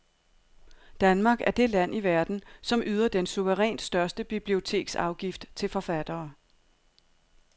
Danmark er det land i verden, som yder den suverænt største biblioteksafgift til forfattere.